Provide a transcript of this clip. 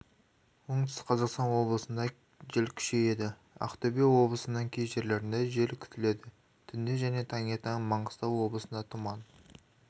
оңтүстік-қазақстан облысында жел күшейеді ақтөбе облысының кей жерлерінде жел күтіледі түнде және таңертең маңғыстау облысында тұман